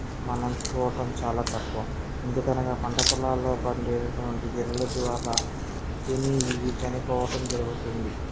మనం చూడటం చాలా తక్కువ ఎందుకనగా పంట పొలాల్లో పండేటటువంటి ఎరువుల ద్వారా తిని ఇవి చనిపోవటం జరుగుతుంది.